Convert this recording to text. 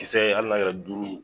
Kisɛ ali n'a kɛra duuru